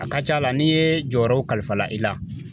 A ka ca la n'i ye jɔyɔrɔw kalifa i la